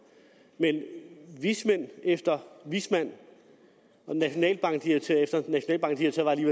men vismand efter vismand og nationalbankdirektør efter nationalbankdirektør var jeg